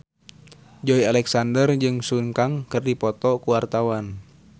Joey Alexander jeung Sun Kang keur dipoto ku wartawan